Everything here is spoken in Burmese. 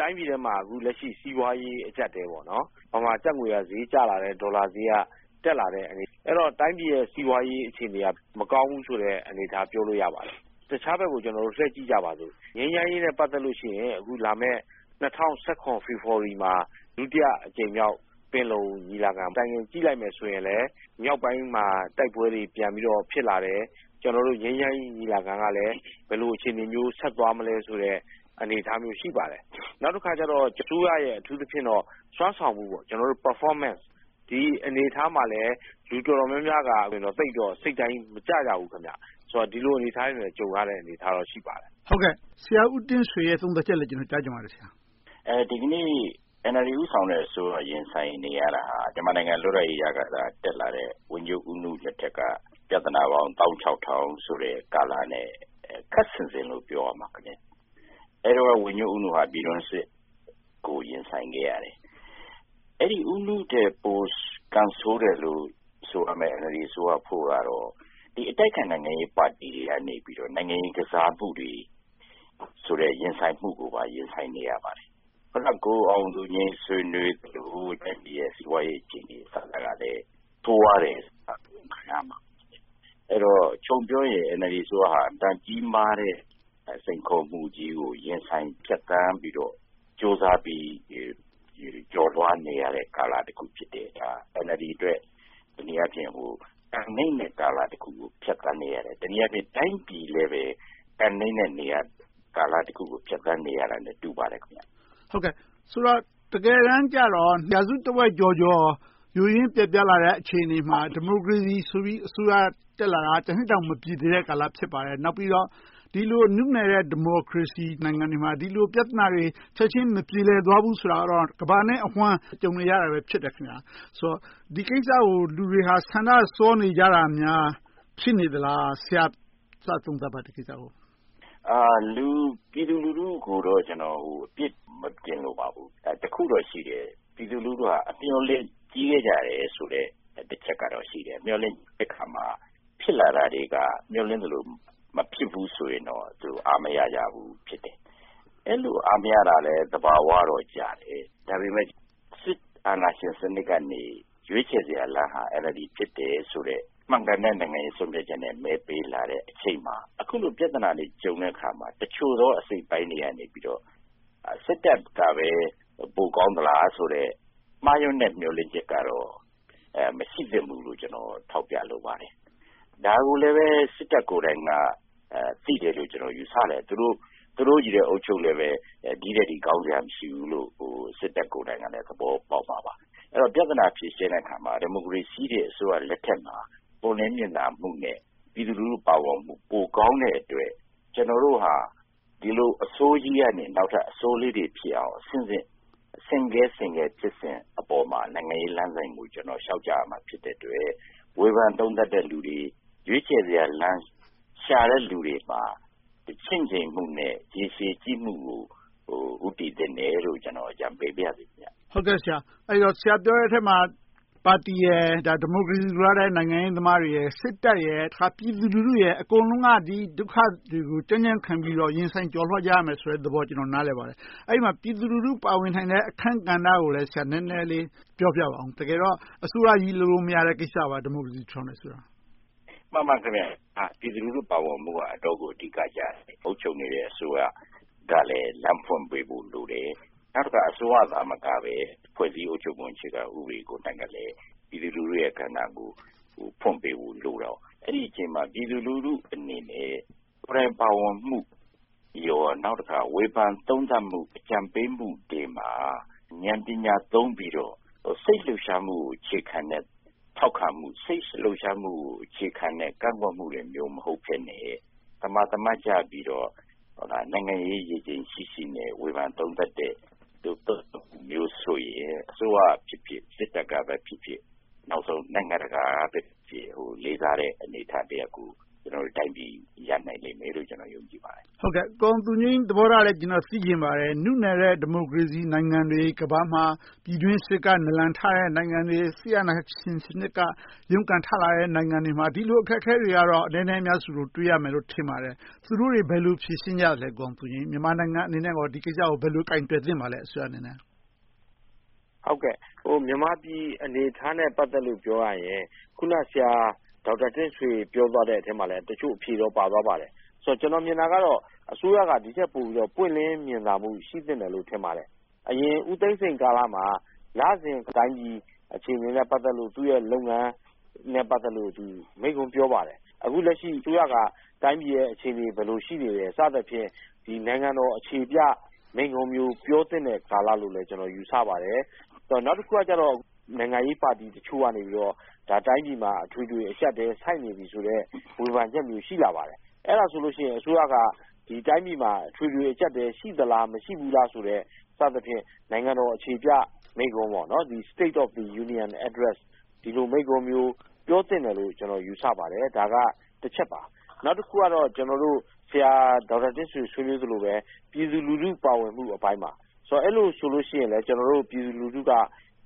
တိုင်းပြည်ထဲမှာ အခုလက်ရှိ စီးပွားရေး အကျပ်အတည် - ဗမာကျပ်ငွေက ဈေးကျလာတယ်။ ဒေါ်လာဈေးက တက်လာတယ်။ အဲဒီတော့ တိုင်းပြည်ရဲ့ စီးပွားရေးအခြေအနေက မကောင်းဘူးဆိုတဲ့ အနေအထား ပြောလို့ရပါတယ်။ တခြားဘက်ကို လှည့်ကြည့်ကြပါစို့။ ငြိမ်းချမ်းရေးနဲ့ ပတ်သက်လို့ရှိရင် လာမယ့် ၂၀၁၇ ဖေဖေါ်ဝါရီမှာ ဒုတိယအကြိမ်မြောက် ပင်လုံညီလာခံ Timing ကြည့်လိုက်ရင်လဲ မြောက်ပိုင်းမှာ တိုက်ပွဲတွေ ပြန်ပြီးဖြစ်လာတယ်။ ငြိမ်းချမ်းရေး ညီလာခံကလဲ ဘယ်လို အခြေအနေမျိုး ဆက်သွာမလဲဆိုတဲ့ အနေအထားမျိုး ရှိပါတယ်။ နောက်တခါ အစိုးရရဲ့ အထူးသဖြင့် စွမ်းဆောင်မှု Performance အနေအထားမှာလဲ လူတော်တော်များများက စိတ်တိုင်းမကျကြဘူး။ ဒီလိုအနေအထားတွေနဲ့ ကြုံရတာ ရှိပါတယ်။ ဆရာဦးတင့်ဆွေရဲ့ သုံးသပ်ချက်ကိုလည်း ကြားချင်ပါတယ်။ ဒီကနေ့ NLD ဦးဆောင်တဲ့ အစိုးရ ရင်ဆိုင်နေရတာ မြန်မာနိုင်ငံ လွတ်လပ်ရေးရခါစက တက်လာတဲ့ ဝန်ကြီးချုပ်ဦးနု လက်ထက်က ပြဿနာပေါင်း သောင်းခြောက်ထောင်ဆိုတဲ့ ကာလနဲ့ ခပ်ဆင်ဆင်လို့ ပြောရလိမ့်မယ်။ အဲဒီတုန်းက ဝန်ကြီးချုပ်ဦးနု က ပြည်တွင်းစစ်ကို ရင်ဆိုင်နေရတယ်။ အဲဒီ ဦးနုထက် ပိုကံဆိုးတယ်လို့ ဆိုရမယ့် NLD အစိုးရကတော့ အတိုက်အခံ နိုင်ငံရေးပါတီတွေကနေ နိုင်ငံရေးကစားမှုတွေဆိုတဲ့ ရင်ဆိုင်မှုတွေကို ရင်ဆိုင်နေရပါတယ်။ အခုန ကိုအောင်သူငြိမ်း ဆွေးနွေးသလို တိုင်းပြည်ရဲ့ စီးပွားရေးအခြေအနေကလည်း ဆိုးဝါးပါတယ်။ အဲဒီတော့ အချုပ်ပြောရင် NLD အစိုးရဟာ အင်မတန် ကြီးမားတဲ့ စိန်ခေါ်မှုကြီးကို ရင်ဆိုင်ဖြတ်သန်းပြီးတော့ ကြိုးစားပြီး ကျော်လွှာနေရတဲ့ ကာလတခုဖြစ်တာ NLD အတွက် တနည်းအားဖြင့် ကံနိမ့်တဲ့ကာလတခုကို ဖြတ်သန်းနေရတယ်။ တနည်းအားဖြင့် တိုင်းပြည်လည်း ကံနိမ်တဲ့ကာလတခုကို ဖြတ်သန်းနေရတာနဲ့ တူပါတယ်။ ဆိုတော့ တကယ်တမ်းကြတော့ ရာစုတဝက်ကျော်ကျော် ယိုးယွင်းပျက်ပြားလာတဲ့ အခြေအနေမှာ ဒီမိုကရေစီဆိုပြီး အစိုးရတက်လာတာ တနှစ်တောင် မပြည့်သေးတဲ့ ကာလဖြစ်ပါတယ်။ နောက်ပြီးတော့ ဒီလို နုနယ်တဲ့ ဒီမိုကရေစီနိုင်ငံတွေမှာ ပြဿနာတွေ ချက်ချင်းမပြေလည်သွားဘူးဆိုတာတော့ ကမ္ဘာနဲ့အဝှမ်း ကြုံနေရတာ ဖြစ်တယ်ဆိုတော့ ဒီကိစ္စကို လူတွေဟာ ဆန္ဒစောနေကြတာများ ဖြစ်နေကြလား။ ဆရာ သုံးသပ်ပါ ဒီကိစ္စကို။ ပြည်သူလူထုကို အပြစ်မတင်လိုပါဘူး။ တခုတော့ရှိတော့ ပြည်သူလူထုက အမျှော်လင့်ကြီးခဲ့ကြတယ်ဆိုတဲ့ တချက်တော့ ရှိတယ်။ မျှော်လင့်တဲ့အခါ ဖြစ်လာတာတွေက မျှော်လင့်သလို မဖြစ်ဘူးဆိုရင်တော့ အားမရကြဘူး ဖြစ်တယ်။ အဲဒီလို အားမရကြတာလဲ သဘာဝတော့ကျတယ်။ ဒါပေမဲ့ စစ်အာဏာရှင်စနစ်ကနေ ရွေးချယ်စရာလမ်းက NLD ဖြစ်တယ်ဆိုတဲ့ မှန်ကန်တဲ့ နိုင်ငံရေး ဆုံးဖြတ်ချက်နဲ့ မဲပေးလာတဲ့အချိန်မှာ အခုလို ပြဿနာတွေ ကြုံတဲ့အခါမှာ တချို့သော အစိတ်အပိုင်းတွေကနေ စစ်တပ်ကပဲ ပိုကောင်းသလားဆိုတဲ့ မှားယွင်းတဲ့ မျှော်လင့်ချက်ကတော့ မရှိသင့်ဘူးလို့ ထောက်ပြလိုပါတယ်။ ဒါကိုလဲ စစ်တပ်ကိုတိုင်းက သိတယ်လို့ ကျနော် ယူဆတယ်။ သူတို့ကြီး အုပ်ချုပ်လည်း ဒီထက်ထိ ကောင်းစရာ မရှိဘူးဆိုတာကို စစ်တပ် သဘောပေါက်မှာပါ။ အဲဒီတော့ ပြဿနာ ဖြေရှင်းတဲ့အခါမှာ ဒီမိုကရေစီ အစိုးရလက်ထက်မှာ ပွင့်လင်းမြင်သာမှုနဲ့ ပြည်သူလူထု ပါဝင်မှု ပိုကောင်းတဲ့အတွက် ကျနော်တို့က ဒီလို အဆိုးကြီးကနေ နောက်ထပ် အဆိုးလေးတွေဖြစ်အောင် အဆင့်ဆင့် ဆင့်ကဲဆင့်ကဲဖြစ်စဉ်အပေါ်မှာ နိုင်ငံရေးလမ်းစဉ်ကို လျှောက်ရမှာ ဖြစ်တဲ့အတွက် ဝေဖန်သုံးသပ်တဲ့လူတွေ၊ ရွေးချယ်စရာလမ်း ရှာတဲ့လူတွေမှာ ချင့်ချိန်ဖို့နဲ့ ရေရှည်ကြည့်မှုကို ဦးတည်သင့်တယ်လို့ ကျနော် အကြံပေးပါရစေ။ ဆရာ ပြောတဲ့အထဲမှာ ပါတီရယ်၊ ဒီမိုကရေစီ လိုလားတဲ့ နိုင်ငံရေးသမားတွေရယ်၊ စစ်တပ်၊ ပြည်သူလူထု အကုန်လုံးက ဒီဒုက္ခတွေကို ကြံ့ကြံ့ခံပြီးေ အဲဒီမှာ ပြည်သူလူထု ပါဝင်နိုင်တဲ့ အခန်းကဏ္ဍကိုလည်း နည်းနည်းလေး ပြောပြပါအုံး။ တကယ်တော့ အစိုးရကြီးလုံးလုံး လုပ်လို့မရတဲ့ကိစ္စပါ ဒီမိုကရေစီ ထူထောင်တယ်ဆိုတာ။ မှန်ပါတယ်။ ပြည်သူလူထု ပါဝင်ဖို့က အတော့်ကို အဓိကကျတယ်။ အုပ်ချုပ်နေတဲ့ အစိုးရကလည်း လမ်းဖွင့်ပေးဖို့ လိုတယ်။ နောက်တခါ အစိုးရသာမကဘဲ ဖွဲ့စည်းအုပ်ချုပ်ပုံ အခြေခံဥပဒေကို.. ပြည်သူလူထုရဲ့ကဏ္ဍကို ဖွင့်ပေးဖို့လိုတယ်။ အဲဒီအခြေအနေမှာ ပြည်သူလူထုအနေနဲ့ ကိုယ်တိုင်ပါဝင်မှု၊ နောက်တခါ ဝေဖန်သုံးသပ်မှု၊ အကြံပေးမှုတွေမှာ ဉာဏ်ပညာသုံးပြီးတော့ စိတ်လှုပ်ရှားမှုကို အခြေခံတဲ့ ထောက်ခံမှု၊ စိတ်လှုပ်ရှားမှုကို အခြေခံတဲ့ ကန့်ကွက်မှုတွေမျိုး မဟုတ်ဘဲနဲ့ သမာသမတ်ကျပြီးတော့ နိုင်ငံရေး ရေချိန်ရှိရှိနဲ့ ဝေဖန်သုံးသပ်မှုမျိုးဆိုရင် အစိုးရဖြစ်ဖြစ်၊ စစ်တပ်ကဖြစ်ဖြစ် နောက်ဆုံး နိုင်ငံတကာကဖြစ်ဖြစ် လေးစားတဲ့ အနေအထားတရပ်ကို ကျနော်တို့တိုင်းပြည် ရနိုင်လိမ့်မယ်လို့ ယုံကြည်ပါတယ်။ ကိုအောင်သူငြိမ်း သဘောထားလဲ သိချင်ပါတယ်။ နုနယ်တဲ့ ဒီမိုကရေစီနိုင်ငံတွေ ကမ္ဘာမှာ ပြည်တွင်းစစ်က နလန်ထတဲ့ နိုင်ငံတွေ၊ စစ်အာဏာရှင်စနစ်က ရုန်းကန်ထလာတဲ့ နိုင်ငံတွေမှာ ဒီလို အခက်အခဲတွေက အနည်းနဲ့အများဆိုသလို တွေ့ရမယ်လို့ ထင်ပါတယ်။ သူတို့တွေ ဘယ်လို ဖြေရှင်းကြလဲ။ မြန်မာနိုင်ငံအနေနဲ့ ဒီကိစ္စကို ဘယ်လို ကိုင်တွယ်သင့်ပါလဲ။ မြန်မာပြည်အနေအထားနဲ့ ပတ်သက်လို့ ပြောရရင် အခုန ဆရာဒေါက်တာတင့်ဆွေ ပြောသွားတဲ့အထဲမှာ တချို့အဖြေတော့ ပါသွားပါတယ်။ ကျနော် မြင်တာကတော့ အစိုးရက ဒီထက်ပိုပြီးတော့ ပွင့်လင်းမြင်သာမှု ရှိသင့်တယ်လို့ ထင်ပါတယ်။ အရင် ဦးသိန်းစိန်ကာလမှာ လစဉ်တိုင်းပြည် အခြေအနေနဲ့ ပတ်သက်လို့ သူ့ရဲ့လုပ်ငန်းနဲ့ ပတ်သက်လို့ မိန့်ခွန်းပြောပါတယ်။ အခုလက်ရှိ အစိုးရက တိုင်းပြည်ရဲ့ အခြေအနေ ဘယ်လို ရှိနေသလဲ စသည်ဖြင့် နိုင်ငံတော်အခြေပြမိန့်ခွန်းမျိုး ပြောသင့်တဲ့ကာလလို့လဲ ကျနော် ယူဆပါတယ်။ နောက်တခုကတော့ နိုင်ငံရေးပါတီတချို့ကနေ တိုင်းပြည်မှာ အထွေထွေအကျပ်အတည် ဆိုက်နေပြီဆိုတဲ့ ဝေဖန်ချက်မျိုး ရှိနေပါတယ်။ အဲဒါဆိုရင် အစိုးရက တိုင်းပြည်မှာ အထွေထွေအကျပ်အတည် ရှိသလား၊ မရှိဘူးလားဆိုတဲ့ စသည်ဖြင့် နိုင်ငံတော်အခြေပြမိန့်ခွန်း State of the Union Address ဒီလို မိန့်ခွန်းမျိုး ပြောသင့်တယ်လို့ ကျနော် ယူဆပါတယ်။ ဒါက တချက်ပါ။ နောက်တခုက ဆရာဒေါက်တာတင့်ဆွေ ဆွေးနွေးသလိုပဲ ပြည်သူလူထု ပါဝင်မှုအပိုင်းပါ။ အဲဒီလိုဆိုရင်လဲ ပြည်သူလူထုက